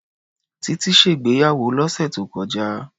Tití ṣègbéyàwó lọ́sẹ̀ tó kọjá.